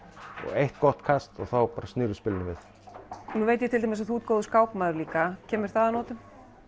eitt gott kast og þá bara snýrðu spilinu við nú veit ég til dæmis að þú ert góður skákmaður líka kemur það að notum